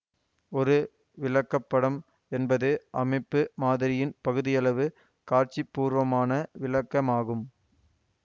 ஒரு விளக்கப்படம் என்பது அமைப்பு மாதிரியின் பகுதியளவு காட்சிப்பூர்வமான விளக்கமாகும்